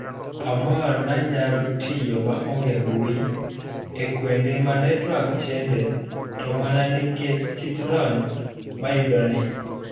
Amor nanyalo tiyo maonge mbui ekuonde ma network shende to mana nikech kit lony mayudoni.